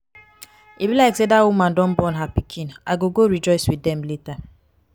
e be like say dat woman don born her pikin. i go go rejoice with dem later.